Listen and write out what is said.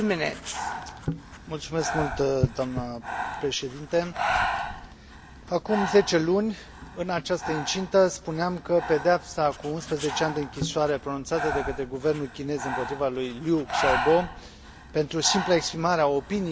Acum 10 luni, în această incintă, spuneam că pedeapsa cu 11 ani de închisoare pronunțată de către guvernul chinez împotriva lui Liu Xiaobo pentru simpla exprimare a opiniilor sale e un sindrom al intensificării campaniei duse de autoritățile chineze